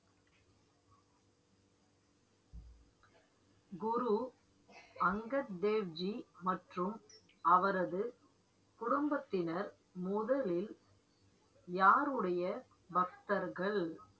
குரு அங்கத் தேவ்ஜி மற்றும் அவரது குடும்பத்தினர், முதலில் யாருடைய பக்தர்கள்